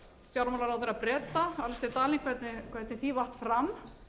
fjármálaráðherra breta alistair darling hvernig því vatt fram